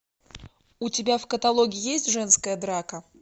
у тебя в каталоге есть женская драка